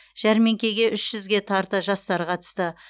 жәрмеңкеге үш жүзге тарта жастар қатысты